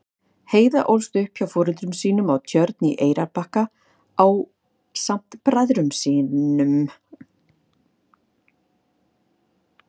Heiða ólst upp hjá foreldrum sínum á Tjörn á Eyrarbakka ásamt bræðrum sínum.